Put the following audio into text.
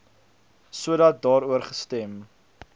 sodat daaroor gestem